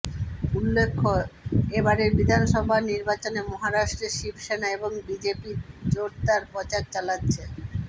উল্লেখ্য এ বারের বিধানসভা নির্বাচনে মহারাষ্ট্রে শিবসেনা এবং বিজেপির জোরদার প্রচার চালাচ্ছে